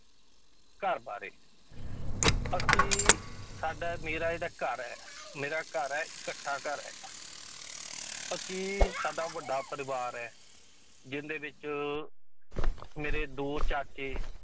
ਘਰ ਬਾਰੇ ਅਸੀਂ ਸਾਡਾ ਮੇਰਾ ਜਿਹੜਾ ਘਰ ਹੈ ਮੇਰਾ ਘਰ ਹੈ ਇਕੱਠਾ ਘਰ ਹੈਗਾ ਅਸੀਂ ਸਾਡਾ ਵੱਡਾ ਪਰਿਵਾਰ ਹੈ ਜਿਹਦੇ ਵਿੱਚ ਮੇਰੇ ਦੋ ਚਾਚੇ